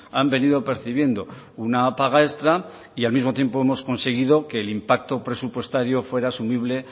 han venido percibiendo una paga extra y al mismo tiempo hemos conseguido que el impacto presupuestario fuera asumible